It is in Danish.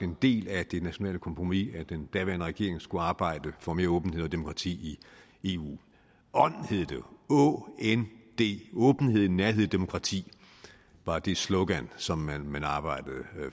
en del af det nationale kompromis at den daværende regering skulle arbejde for mere åbenhed og demokrati i eu ånd hed det jo å n d åbenhed nærhed og demokrati var det slogan som man man arbejdede